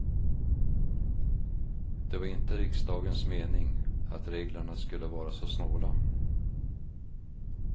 Det var inte riksdagens mening att reglerna skulle vara så snåla.